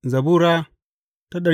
Zabura Sura